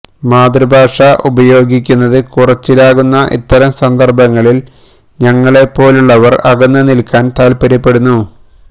മാതൃഭാഷ ഉപയോഗിക്കുന്നത് കുറച്ചിലാകുന്ന ഇത്തരം സന്ദര്ഭങ്ങളില് ഞങ്ങളെ പോലുള്ളവര് അകന്ന് നില്ക്കാന് താല്പ്പര്യപ്പെടുന്നു